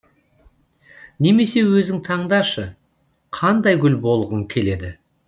немесе өзің таңдашы қандай гүл болғың келеді